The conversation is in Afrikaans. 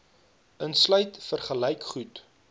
insluit vergelyk goed